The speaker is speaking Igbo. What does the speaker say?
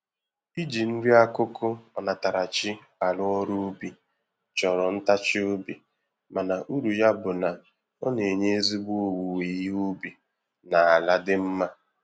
Iji nri-akụkụ onatarachi arụ ọrụ ubi, chọrọ ntachi obi mana uru ya bụ na, ọ na-enye ezigbo owuwe ihe ubi na ala dị mma.